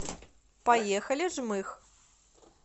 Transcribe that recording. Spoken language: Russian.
поехали жмых